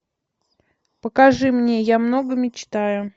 покажи мне я много мечтаю